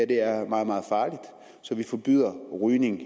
det her er meget meget farligt så vi forbyder rygning